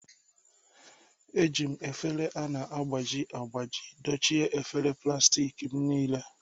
Eji m efere a na-agbaji agbaji dochie efere plastik m niile